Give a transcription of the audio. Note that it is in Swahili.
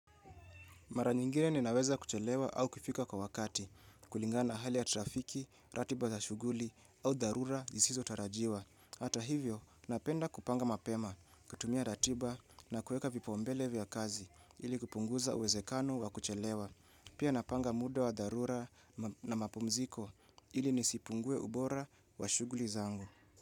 Mara nyingine ninaweza kuchelewa au kufika kwa wakati, kulingana na hali ya trafiki, ratiba za shughuli au dharura jisizotarajiwa. Hata hivyo, napenda kupanga mapema, kutumia ratiba na kueka vipaumbele vya kazi ili kupunguza uwezekano wa kuchelewa. Pia napanga muda wa dharura na mapumziko ili nisipungue ubora wa shughuli zangu.